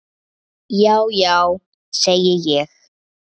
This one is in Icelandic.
Já já, segi ég.